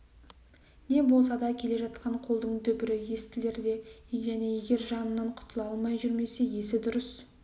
не болмаса келе жатқан қолдың дүбірі естілер және егер жанынан құтыла алмай жүрмесе есі дұрыс